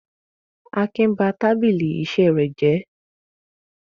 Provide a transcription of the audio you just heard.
Akin ba tábìlì iṣẹ́ rẹ̀ jẹ́?